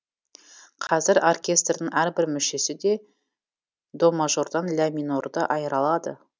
қазір оркестрдің әрбір мүшесі де до мажордан ля минорды айыра алады